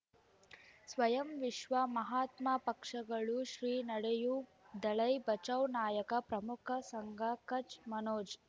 ಸ್ವಯಂ ವಿಶ್ವ ಮಹಾತ್ಮ ಪಕ್ಷಗಳು ಶ್ರೀ ನಡೆಯೂ ದಲೈ ಬಚೌ ನಾಯಕ ಪ್ರಮುಖ ಸಂಘ ಕಚ್ ಮನೋಜ್